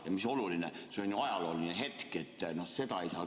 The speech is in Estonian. Ja mis oluline, see on ajalooline hetk, seda oleks küll patt maha magada.